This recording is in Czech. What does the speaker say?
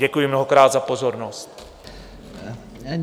Děkuji mnohokrát za pozornost.